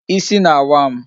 Ịsị na-awa m